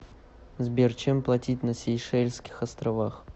сбер чем платить на сейшельских островах